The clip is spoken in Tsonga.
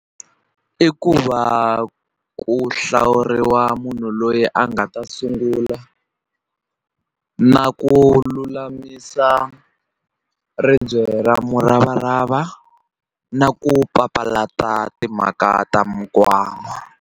I ku va ku hlawuriwa munhu loyi a nga ta sungula na ku lulamisa ribye ra muravarava na ku papalata timhaka ta .